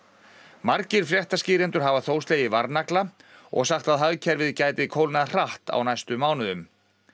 margir fréttaskýrendur hafa þó slegið varnagla og sagt að hagkerfið gæti kólnað hratt á næstu mánuðum